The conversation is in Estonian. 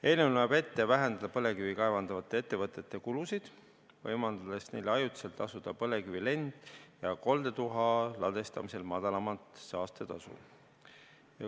Eelnõu näeb ette vähendada põlevkivi kaevandavate ettevõtete kulusid, võimaldades neil ajutiselt tasuda põlevkivi lend- ja koldetuha ladestamisel madalamat saastetasu.